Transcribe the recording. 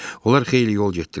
Onlar xeyli yol getdilər.